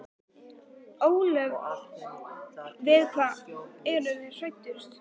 Kristján Már: Ólöf við hvað eru þið hræddust?